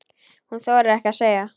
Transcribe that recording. Hún þorir ekkert að segja.